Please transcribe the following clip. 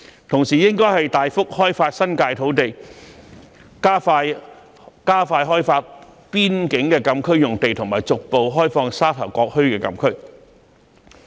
同時，應該大幅開發新界土地，加快開發邊境的禁區用地及逐步開放沙頭角墟的禁區。